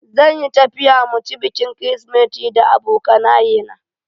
Zan yi tafiya mu ci bikin kirisimeti da abokanaye na.